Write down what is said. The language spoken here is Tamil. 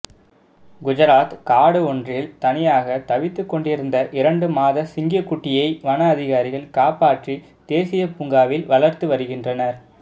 குஜராத் காடு ஒன்றில் தனியாக தவித்துக் கொண்டிருந்த இரண்டு மாத சிங்கக்குட்டியை வன அதிகாரிகள் காப்பாற்றி தேசிய பூங்காவில் வளர்த்துவருகின்றனர்